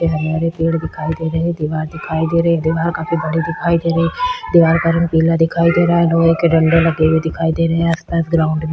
हरे-हरे पेड़ दिखाई दे रहे है दीवार दिखाई दे रही है दीवार काफी बड़ी दिखाई दे रही है दीवार का रंग पीला दिखाई दे रहा है लोहे के डंडे लगे हुए दिखाई दे रहे है आस-पास ग्राउंड --